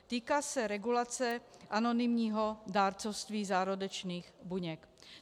Týká se regulace anonymního dárcovství zárodečných buněk.